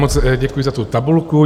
Moc děkuji za tu tabulku.